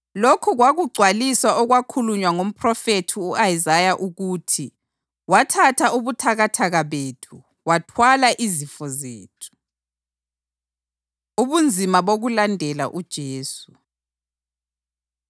Lokhu kwakugcwalisa okwakhulunywa ngomphrofethi u-Isaya ukuthi: “Wathatha ubuthakathaka bethu wathwala izifo zethu.” + 8.17 U-Isaya 53.4 Ubunzima Bokulandela UJesu